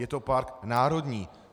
Je to park národní.